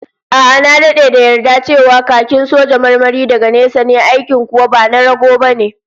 A'a, na dade da yarda cewa khakin soja marmari daga nesa ne, aikin kuwa ba na rago bane